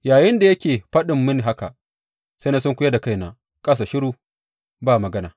Yayinda yake faɗin mini haka, sai na sunkuyar da kaina ƙasa shiru, ba magana.